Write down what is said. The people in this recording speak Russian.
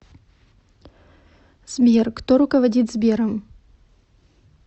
сбер кто руководит сбером